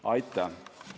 Aitäh!